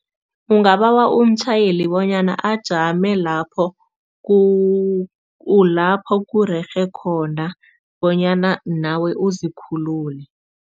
Ungabawa umtjhayeli bonyana ajame lapho lapho kurerhe khona bonyana nawe uzikhulule.